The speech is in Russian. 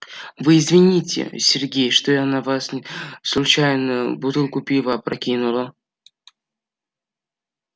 вы извините сергей что я на вас случайно бутылку пива опрокинула